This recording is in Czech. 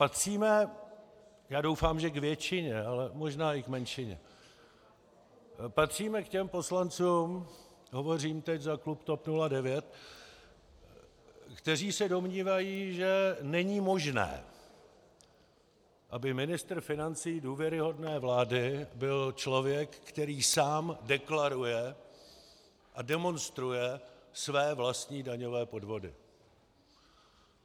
Patříme, já doufám, že k většině, ale možná i k menšině, patříme k těm poslancům, hovořím teď za klub TOP 09, kteří se domnívají, že není možné, aby ministr financí důvěryhodné vlády byl člověk, který sám deklaruje a demonstruje své vlastní daňové podvody.